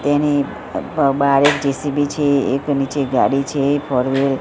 તેની બ બારે જે_સી_બી છે એક નીચે ગાડી છે ફોર વ્હીલ .